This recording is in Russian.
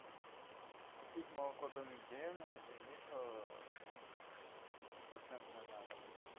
купить молоко домик в деревне один литр пяти процентное на дом